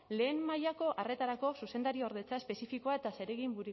lehen mailako arretarako zuzendariordetza espezifikoa eta zeregin